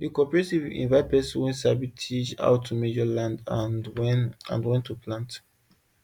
the cooperative invite person wey sabi teach how to measure land and when and when to plant